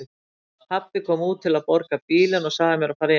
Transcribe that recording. Pabbi kom út til að borga bílinn og sagði mér að fara inn.